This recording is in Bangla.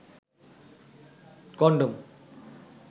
কনডম